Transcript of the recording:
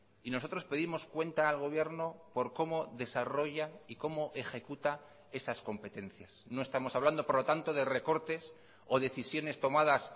y nosotros pedimos cuenta al gobierno por cómo desarrolla y cómo ejecuta esas competencias no estamos hablando por lo tanto de recortes o decisiones tomadas